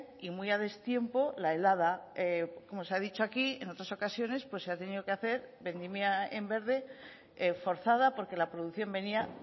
y muy a destiempo la helada como se ha dicho aquí en otras ocasiones se ha tenido que hacer vendimia en verde forzada porque la producción venía